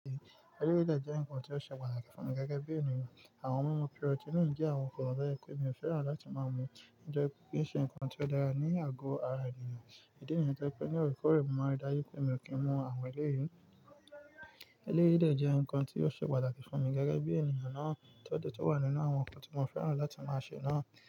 Eléyí de jẹ́ ǹkan tí ó ṣe pàtàkì fún mi gẹ́gẹ́ bí ènìyàn. Àwọn ohun mímu pírọ́tíìnì jẹ́ àwọn kan ti je ebtnolára èyí tí mi ò fẹ́ràn láti máa mú. Nitorioepípín kii ṣe ǹkan tí ó lara ní àgọ ara ènìyàn. Ìdínìyẹn tó pé ní Òrìṣà kó rẹ̀ mo máa dá yí pé mi ò kí ń mú àwọn elérí. Eléyí de je nkan ti o ṣe pàtàkì fún mi gẹ́gẹ́ bí ènìyàn náà tó dẹ̀ tun wà nínú àwọn ǹkan tí mo fẹ́ràn láti máa ṣe náà.